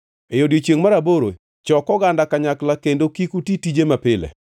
“ ‘E odiechiengʼ mar aboro chok oganda kanyakla kendo kik uti tije mapile.